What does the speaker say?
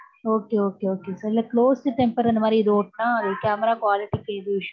Okay okay கொஞ்சம் closed temper அந்த மாதிரி ஏதாவது ஒட்டுன்னா camera quality issue